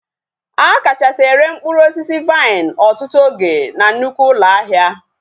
A kachasị ere mkpụrụ osisi vaịn ọtụtụ oge na nnukwu ụlọ ahịa